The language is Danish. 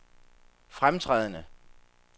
fremtrædende